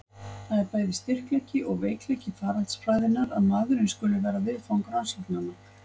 Það er bæði styrkleiki og veikleiki faraldsfræðinnar að maðurinn skuli vera viðfang rannsóknanna.